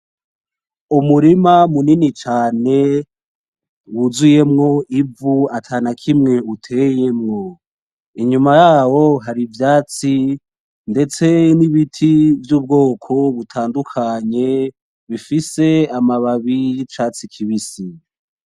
Umurima munini cane wuzuyemwo ivu atanakimwe uteyemwo, inyuma yawe hari ivyatsi ndetse n'ibiti vy'ubwoko butadukanye bifise amababi y'icatsi kibisi.